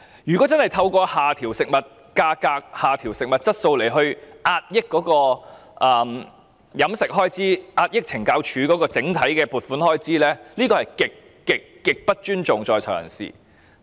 如果透過下調食物質素壓抑膳食開支，從而壓抑懲教署的整體撥款開支，這是極度不尊重在囚人士的。